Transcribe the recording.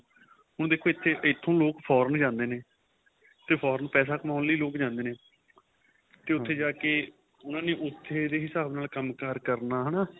ਹੁਣ ਦੇਖੋ ਇਥੋ ਲੋਕ foreign ਜਾਂਦੇ ਨੇ ਤੇ foreign ਪੈਸੇ ਕਮਾਉਣ ਲਈ ਲੋਕ ਜਾਂਦੇ ਨੇ ਤੇ ਉਥੇ ਜਾਕੇ ਉਹਨਾ ਨੇ ਉਥੇ ਦੇ ਹਿਸਾਬ ਨਾਲ ਕੰਮਕਾਰ ਕਰਨਾ ਹੈਨਾ